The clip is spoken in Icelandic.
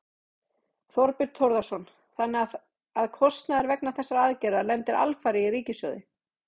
Þorbjörn Þórðarson: Þannig að kostnaður vegna þessarar aðgerðar lendir alfarið á ríkissjóði?